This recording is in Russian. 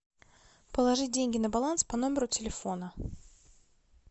положить деньги на баланс по номеру телефона